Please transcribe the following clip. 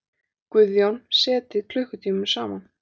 Guðjón setið klukkutímum saman.